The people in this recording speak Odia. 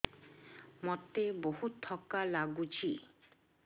ମୋତେ ବହୁତ୍ ଥକା ଲାଗୁଛି